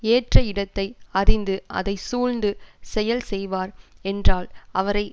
ஏற்ற இடத்தை அறிந்து அதை சூழ்ந்து செயல் செய்வார் என்றால் அவரை